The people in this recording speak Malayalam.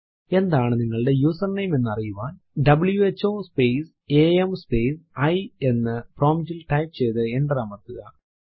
എന്താണ് നിങ്ങളുടെ യൂസർനേം എന്നറിയുവാൻ who space am space I എന്ന് prompt ൽ ടൈപ്പ് ചെയ്തു എന്റർ അമർത്തുക